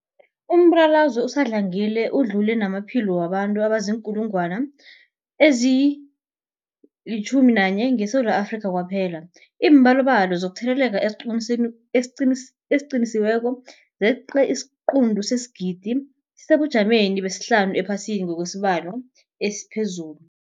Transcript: Umbulalazwe usadlangile udlule namaphilo wabantu abaziinkulungwana ezi-11 ngeSewula Afrika kwaphela. Iimbalobalo zokutheleleka eziqinisekisiweko zeqe isiquntu sesigidi, sisesebujameni besihlanu ephasini ngokwesibalo esiphezulu.